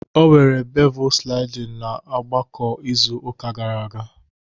o were bevel sliding na ogbako izu uka gara aga